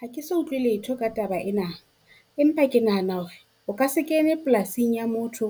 Ha ke so utlwe letho ka taba ena. Empa ke nahana hore o ka se kene polasing ya motho